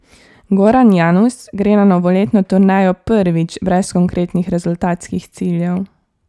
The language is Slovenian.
Goran Janus gre na novoletno turnejo prvič brez konkretnih rezultatskih ciljev.